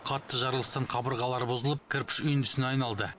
қатты жарылыстан қабырғалары бұзылып кірпіш үйіндісіне айналды